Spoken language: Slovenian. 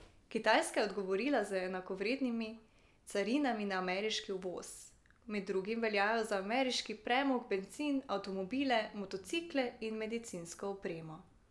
Kitajska je odgovorila z enakovrednimi carinami na ameriški uvoz, med drugim veljajo za ameriški premog, bencin, avtomobile, motocikle in medicinsko opremo.